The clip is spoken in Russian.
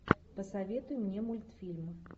посоветуй мне мультфильм